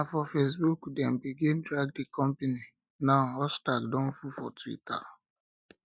na for facebook dem begin drag di company now hashtag don full for twitter